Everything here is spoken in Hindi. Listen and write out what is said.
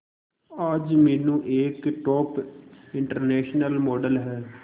आज मीनू एक टॉप इंटरनेशनल मॉडल है